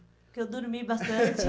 Porque eu dormi bastante.